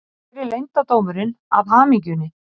Hver er leyndardómurinn að hamingjunni